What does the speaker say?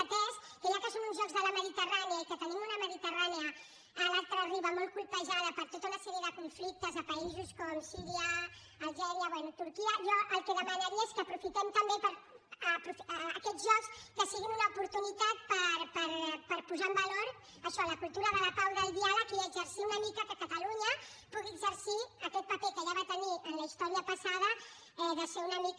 atès que ja que són uns jocs de la mediterrània i que tenim una mediterrània a l’altra riba molt colpejada per tota una sèrie de conflictes a països com síria algèria bé turquia jo el que demanaria és que aprofitem també que aquests jocs siguin una oportunitat per posar en valor això la cultura de la pau i del diàleg i exercir una mica que catalunya pugui exercir aquest paper que ja va tenir en la història passada de ser una mica